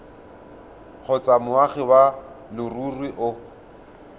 kgotsa moagi wa leruri o